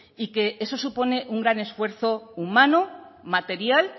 y que eso supone un gran esfuerzo humano material